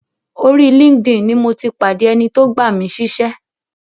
Orí linkedin ni mo ti pàdé ẹni tó gbà mí síṣẹ́.